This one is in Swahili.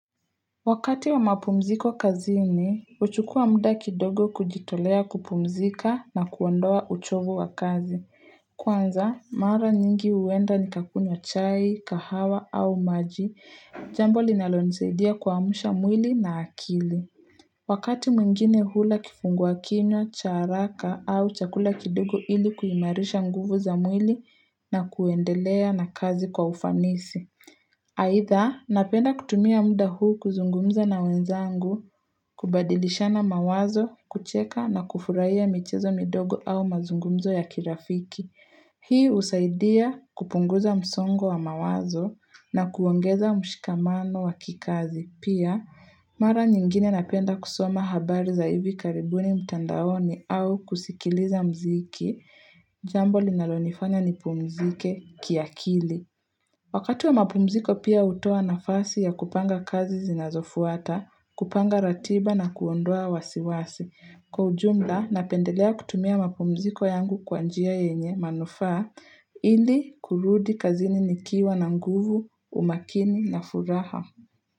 Wakati wa mapumziko kazini, huchukua muda kidogo kujitolea kupumzika na kuondoa uchovu wa kazi. Kwanza, mara nyingi huenda ni kakunywa chai, kahawa au maji, jambo linalo nisaidia kuamsha mwili na akili. Wakati mwingine hula kifungua kinywa, cha haraka au chakula kidogo ili kuimarisha nguvu za mwili na kuendelea na kazi kwa ufanisi. Aidha, napenda kutumia muda huu kuzungumza na wenzangu, kubadilishana mawazo, kucheka na kufurahia michezo midogo au mazungumzo ya kirafiki. Hii husaidia kupunguza msongo wa mawazo na kuongeza mshikamano wa kikazi. Pia, mara nyingine napenda kusoma habari za hivi karibuni mtandaoni au kusikiliza mziki, jambo linalonifanya ni pumzike kiakili. Wakati wa mapumziko pia hutoa nafasi ya kupanga kazi zinazofuata, kupanga ratiba na kuondoa wasiwasi. Kwa ujumla, napendelea kutumia mapumziko yangu kwa njia yenye manufaa ili kurudi kazini nikiwa na nguvu, umakini na furaha.